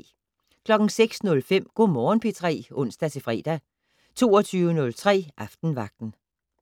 06:05: Go' Morgen P3 (ons-fre) 22:03: Aftenvagten